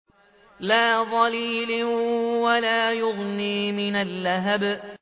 لَّا ظَلِيلٍ وَلَا يُغْنِي مِنَ اللَّهَبِ